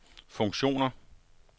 funktioner